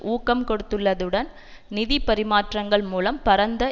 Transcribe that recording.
ஊக்கம் கொடுத்துள்ளதுடன் நிதி பரிமாற்றங்கள் மூலம் பரந்த